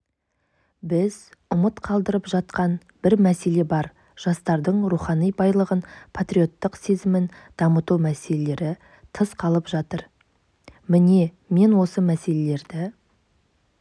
біз ұмыт қалдырып жатқан бір мәселе бар жастардың рухани байлығын патриоттық сезімін дамыту мәселелері тыс қалып жатыр міне мен осы мәселелерді